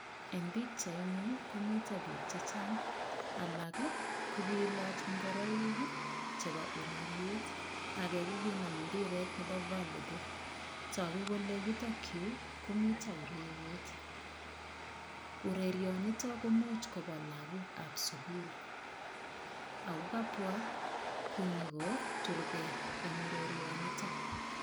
Eng pikchaini komito biik che chang. Alag ii ko kilach ingoroik chebo ureriet, age kokinam mpiret nebo valleyball. Tagu kole yutok yu komito ureriet. Urerionito komuch kobwa lagokab sugul ago kabwa konyokoturgei eng urerionito.